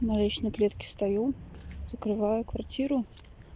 на лестничной клетке стою закрываю квартиру